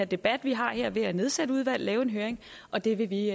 debat vi har her ved at nedsætte et udvalg og lave en høring og det vil vi